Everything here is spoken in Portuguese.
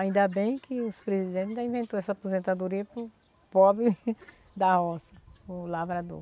Ainda bem que os presidentes ainda inventou essa aposentadoria para o pobre da roça, o lavrador.